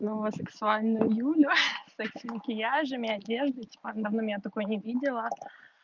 но сексуальная юля с такими вещами и одеждой в основном я такой не видела